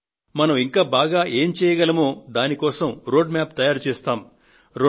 మనం ఇంకా బాగా ఏం చేయగలమో దాని కోసం మార్గసూచీని తయారుచేస్తాం